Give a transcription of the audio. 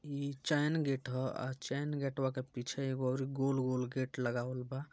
इ chain gate है और चैन गेटवा के पीछे एगोऔर गुलगुल गेट लगावल बा |